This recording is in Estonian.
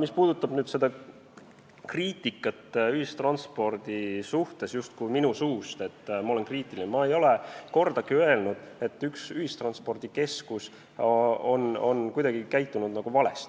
Mis puudutab seda, et minu suust on kostnud justkui kriitikat ühistranspordi suhtes, et ma olen kriitiline, siis ma ei ole kordagi öelnud, et mõni ühistranspordikeskus on kuidagi valesti käitunud.